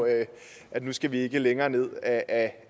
at nu skal vi ikke længere ned ad